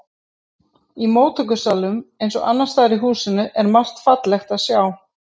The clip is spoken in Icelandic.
Í móttökusalnum eins og annars staðar í húsinu er margt fallegt að sjá.